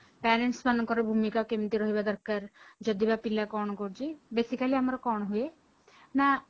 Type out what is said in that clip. parents ମାନଙ୍କର ଭୂମିକା କେମିତି ରହିବା ଦରକାର ଯଦି ବା ପିଲା କଣ କରୁଛି basically ଆମର କଣ ହୁଏ ନା